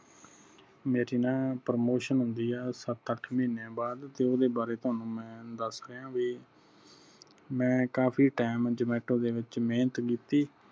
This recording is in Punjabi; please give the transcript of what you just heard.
ਮੇਰੀ ਨਾ promotion ਹੁੰਦੀ ਆ ਸੱਤ ਅੱਠ ਮਹੀਨੇ ਬਾਅਦ ਤੇ ਓਹਦੇ ਬਾਰੇ ਤੁਹਾਨੂੰ ਮੈਂ ਦਸ ਰਿਹਾ ਬਾਈ ਮੈਂ ਕਾਫੀ time ਦੇ ਵਿਚ ਮੇਹਨਤ ਕੀਤੀ ।